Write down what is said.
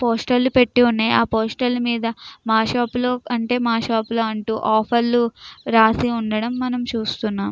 Poster లు పెట్టి ఉన్నాయ్. హ పోస్టర్ మీద మనకు హ మా షాప్ లో అంటూ లేదు. హ షాప్ లో అంటూ అని ఆఫర్స్ పెట్టి రాసి ఉండడం మనము చూస్తున్నాము.